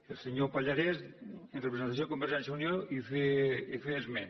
el senyor pallarès en representació de convergència i unió en feia esment